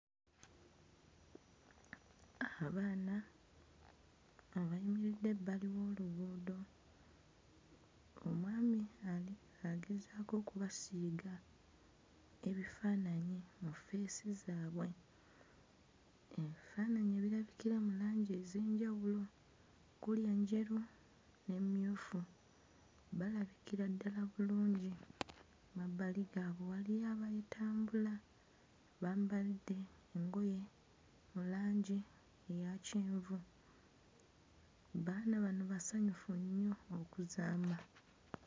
Abaana abayimiridde ebbali w'oluguudo omwami ali agezaako okubasiiga ebifaananyi mu ffeesi zaabwe, ebifaananyi ebirabikira mu langi ez'enjawulo kuli enjeru n'emmyufu, balabikira ddala bulungi mabbali gaabwe waliyo abayitambula bambadde engoye mu langi eya kyenvu, baana bano basanyufu nnyo okuzaama.